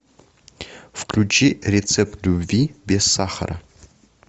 включи рецепт любви без сахара